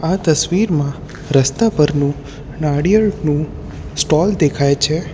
આ તસવીરમાં રસ્તા પરનું નાળિયેળનું સ્ટોલ દેખાય છે.